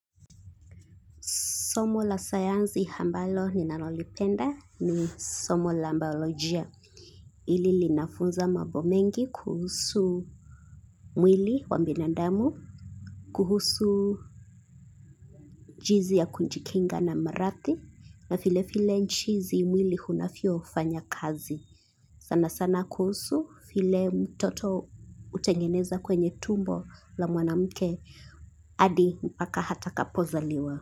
Somo la sayansi ambalo ninalolipenda ni somo la biolojia hili linafunza mambo mengi kuhusu mwili wa binadamu, kuhusu jinsi ya kujikinga na maradhi, na vile vile jinsi mwili unavyofanya kazi. Sana sana kuhusu vile mtoto hutengeneza kwenye tumbo la mwanamke, hadi mpaka atakapozaliwa.